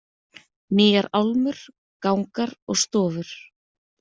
Nýjar álmur, gangar og stofur.